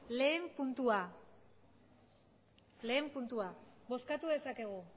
batgarrena puntua bozkatu dezakegu